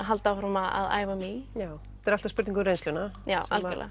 halda áfram að æfa mig í já þetta er alltaf spurning um reynsluna